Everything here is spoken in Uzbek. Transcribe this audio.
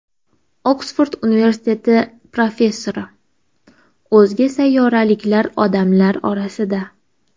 Oksford universiteti professori: O‘zga sayyoraliklar odamlar orasida.